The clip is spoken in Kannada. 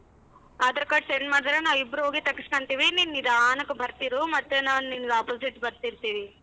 Aadhar card send ಮಾಡಿದ್ರೆ ನಾವಿಬ್ರು ಹೋಗಿ ತೆಗ್ಸ್ಕನ್ತೀವಿ ನೀನ್ ನಿಧಾನಕ್ ಬರ್ತಿರು ಮತ್ತೆ ನಾನ್ ನಿಂಗ್ opposite ಬರ್ತಿರ್ತೀವಿ.